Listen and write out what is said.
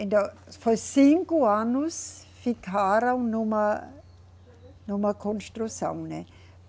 Então, foi cinco anos, ficaram numa, numa construção, né?